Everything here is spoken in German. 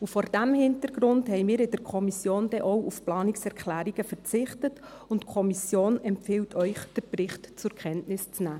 Vor diesem Hintergrund haben wir in der Kommission denn auch auf Planungserklärungen verzichtet, und die Kommission empfiehlt Ihnen, den Bericht zur Kenntnis zu nehmen.